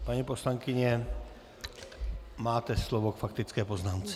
Paní poslankyně, máte slovo k faktické poznámce.